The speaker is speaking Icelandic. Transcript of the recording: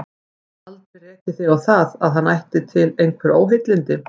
Aldrei rekið þig á það, að hann ætti til einhver óheilindi?